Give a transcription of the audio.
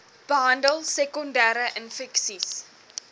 behandel sekondere infeksies